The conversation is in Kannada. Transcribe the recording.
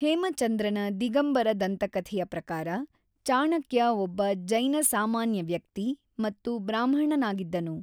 ಹೇಮಚಂದ್ರನ ದಿಗಂಬರ ದಂತಕಥೆಯ ಪ್ರಕಾರ, ಚಾಣಕ್ಯ ಒಬ್ಬ ಜೈನ ಸಾಮಾನ್ಯ ವ್ಯಕ್ತಿ ಮತ್ತು ಬ್ರಾಹ್ಮಣನಾಗಿದ್ದನು.